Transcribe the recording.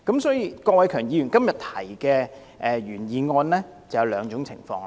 所以，郭偉强議員今天提出的原議案涉及兩種情況。